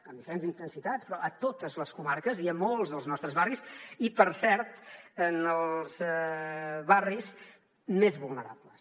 amb diferents intensitats però a totes les comarques i a molts dels nostres barris i per cert en els barris més vulnerables